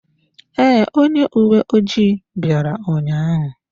Ee, onye uwe ojii bịara ụnyaahụ.